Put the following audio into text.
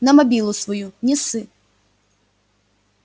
на мобилу свою не ссы